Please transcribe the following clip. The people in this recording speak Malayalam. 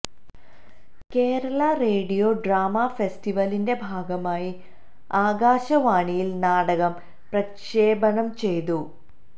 കേരള റേഡിയോ ഡ്രാമാ ഫെസ്റ്റിവെലിന്റെ ഭാഗമായി ആകാശവാണിയില് നാടകം പ്രക്ഷേപണം ചെയ്തു